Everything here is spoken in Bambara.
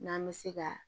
N'an bɛ se ka